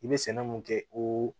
I bɛ sɛnɛ mun kɛ oo